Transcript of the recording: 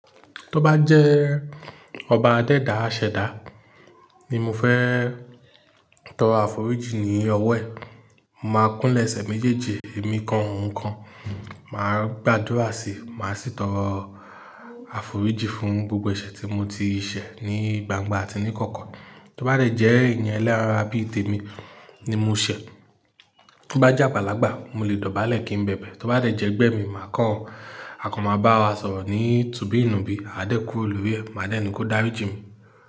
Tó bá jẹ́ ọba adé dáá aṣẹ́ dáá, ni mo fẹ́ tọrọ àforíjì ní ọwọ́ ẹ̀. Mo máa kúnlẹ̀ ẹsẹ̀ méjèèjì èmi kan, òun kan. Màá gbàdúrà síi, màá sì tọrọ àforíjì fún gbogbo ẹ̀ṣẹ̀ tí mo ti ṣẹ̀ ní ìgbàńgbà àti ní kọ̀ọ̀ko. Tó bá jẹ́ ìyan ẹlẹ́ran ara bí i tèmi ni mo ṣẹ̀, tó bá je agbalágbà, mo lè dọ̀bálẹ̀ kí n bẹ̀bẹ̀. Tó bá jẹ́ egbẹ̀mi, màá kàn ọ́, a kàn máa bá wa sọ̀rọ̀ ní tùbí ìnúbí, a dẹ́ kùro lori eẹ̀, màá de ni kó dáríji mi.